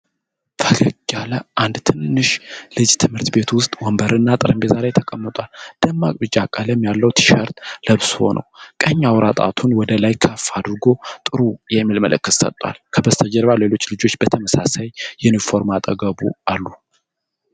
ፈገግ ያለ አንድ ትንሽ ልጅ ትምህርት ቤት ውስጥ ወንበርና ጠረጴዛ ላይ ተቀምጧል። ደማቅ ቢጫ ቀለም ያለው ቲ-ሸርት ለብሶ ነው። ቀኝ አውራ ጣቱን ወደ ላይ ከፍ አድርጎ "ጥሩ" የሚል ምልክት ሰጥቷል። ከበስተጀርባ ሌሎች ልጆች በተመሳሳይ ዩኒፎርም አጠገቡ አሉ።